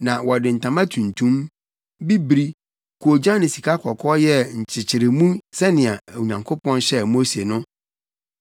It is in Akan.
Na wɔde ntama tuntum, bibiri, koogyan ne sikakɔkɔɔ yɛɛ nkyekyeremu sɛnea Onyankopɔn hyɛɛ Mose no.